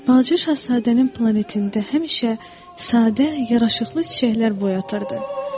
Balaca Şahzadənin planetində həmişə sadə, yaraşıqlı çiçəklər boy atırdı.